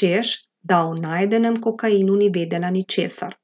češ da o najdenem kokainu ni vedela ničesar.